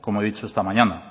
como he dicho esta mañana